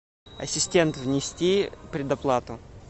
ассистент внести предоплату